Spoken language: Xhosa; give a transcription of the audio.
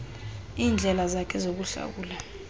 iindlela zakhe zokuhlawula